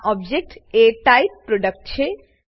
આ ઓબજેક્ટ એ type product છે